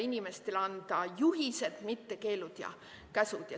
Inimestele tuleb anda juhiseid, mitte keelde ja käske.